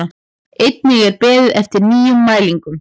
Einnig er beðið eftir nýjum mælingum